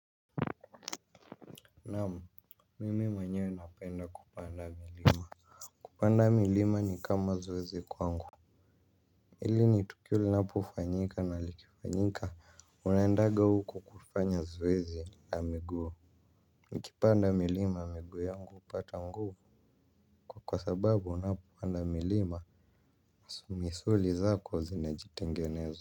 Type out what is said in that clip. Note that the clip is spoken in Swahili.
Naam, mimi mwenyewe napenda kupanda milima. Kupanda milima ni kama zoezi kwangu. Ili ni tukio linapo fanyika na likifanyika unaendaga huko kufanya zoezi ya miguu. Nikipanda milima miguu yangu upata nguvu kwa sababu unapopanda milima misuli zako zinajitengeneza.